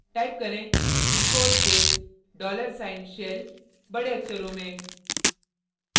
type करें echo space dollar sign shell बड़े अक्षरों में